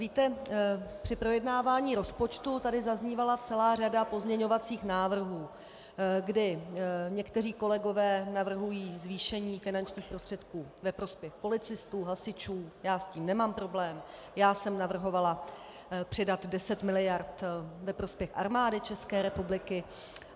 Víte, při projednávání rozpočtu tady zaznívala celá řada pozměňovacích návrhů, kdy někteří kolegové navrhují zvýšení finančních prostředků ve prospěch policistů, hasičů, já s tím nemám problém, já jsem navrhovala přidat 10 miliard ve prospěch Armády České republiky.